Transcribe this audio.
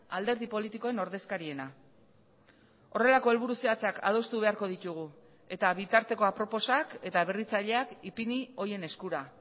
alderdi politikoen ordezkariena horrelako helburu zehatzak adostu beharko ditugu eta bitarteko aproposak eta berritzaileak ipini horien eskura